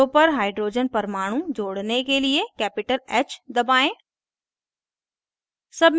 सिरों पर hydrogen परमाणु जोड़ने के लिए capital h दबाएं